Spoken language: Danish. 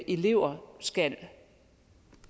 elever skal